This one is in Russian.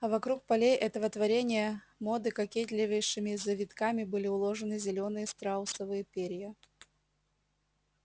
а вокруг полей этого творения моды кокетливейшими завитками были уложены зелёные страусовые перья